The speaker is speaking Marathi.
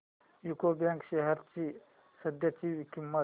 यूको बँक शेअर्स ची सध्याची किंमत